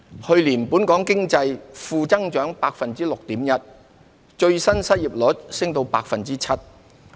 去年本港經濟負增長 6.1%， 最新失業率升至 7%。